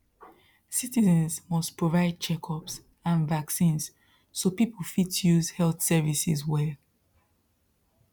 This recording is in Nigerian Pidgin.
citizens must provide checkups and vaccines so people fit use health services well